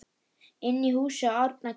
Inni í húsi Árna kyssir